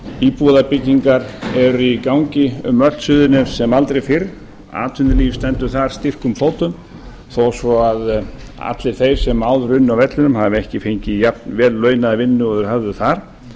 íbúðarbyggingar eru í gangi um öll suðurnes sem aldrei fyrr atvinnulíf stendur þar styrkum fótum þó svo að allir þeir sem áður unnu á vellinum hafi ekki fengið jafn velllaunaða vinnu og þeir höfðu þar